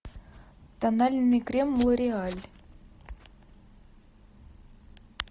тональный крем лореаль